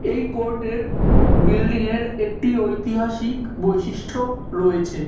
এই কোর্ট -এর বিল্ডিং -এর একটি ঐতিহাসিক বৈশিষ্ট্য রয়েছে।